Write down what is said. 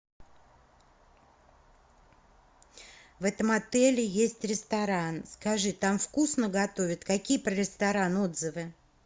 в этом отеле есть ресторан скажи там вкусно готовят какие про ресторан отзывы